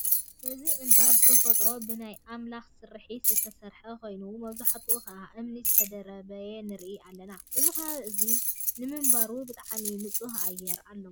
እዚ እንባ ብተፈጥሮ ብናይ ኣምላክ ስርሒት ዝተሰርሓ ኮይኑ መብዛሕትኡ ከዓ እምኒ ዝተደራረበ ንርኢ ኣለና። እዚ ከባቢ እዚ ንምንባሩ ብጣዕሚ ንፁህ ኣየር ኣለዎ።